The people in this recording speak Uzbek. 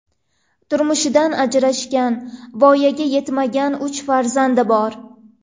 Turmushidan ajrashgan, voyaga yetmagan uch farzandi bor.